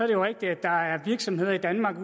det jo rigtigt at der er virksomheder i danmark